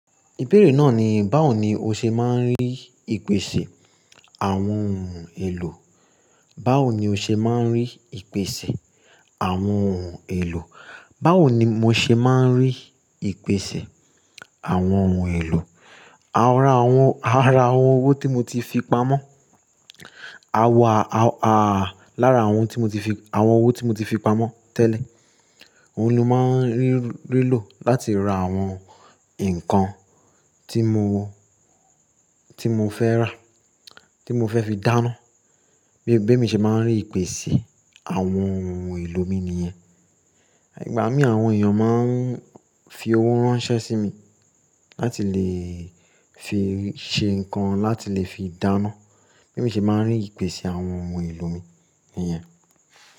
Ìbéèrè náà ni, báwo ni o ṣe máa ń rí ìpèsè àwọn ohun èlò? Báwo ni o ṣe máa ń rí ìpèsè àwọn ohun èlò? Báwo ni mo ṣe máa ń rí ìpèsè àwọn ohun èlò? Ara àwọn, ara àwọn owó tí mo ti fi pamọ́. Lára àwọn tí mo ti fi, àwọn owó tí mo ti fi pamọ́ tẹ́lẹ̀, òun ló máa ń rí, rí lò láti ra àwọn nǹkan tí mo, tí mo fẹ́ rà, tí mo fẹ́ fi dáná. Bí, bí mi ṣe máa ń rí ìpèsè àwọn ohun èlò mi ni yẹn. Ìgbà mí àwọn èèyàn máa ń fi owó ránṣẹ́ sí mi láti lè fi ṣe nǹkan láti lè fi dáná. Bí mi ṣe máa ń rí ìpèsè àwọn ohun èlò mi ni yẹn.